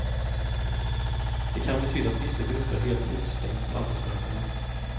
Det kan betyda att vissa grupper helt utestängs från arbetsmarknaden.